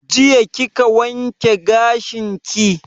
Jiya kika wanke gashin ki?